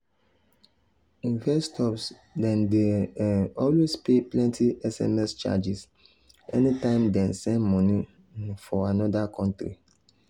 investors dem dey um always pay plenty sms charges anytime dem send money um for another country